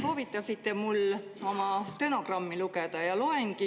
Soovitasite mul stenogrammi lugeda ja loengi.